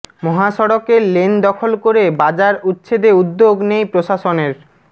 মহাসড়কের লেন দখল করে বাজার উচ্ছেদে উদ্যোগ নেই প্রশাসনের